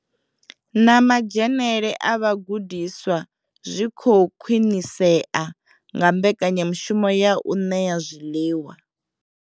Na madzhenele a vhagudiswa zwi khou khwinisea nga mbekanyamushumo ya u ṋea zwiḽiwa.